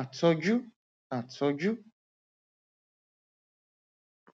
àtọjú àtọjú